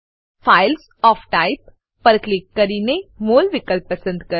files of type પર click કરીને MOL વિકલ્પ પસંદ કરો